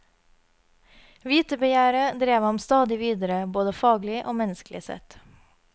Vitebegjæret drev ham stadig videre, både faglig og menneskelig sett.